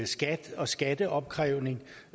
skat og skatteopkrævning